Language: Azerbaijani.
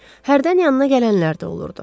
Hərdən yanına gələnlər də olurdu.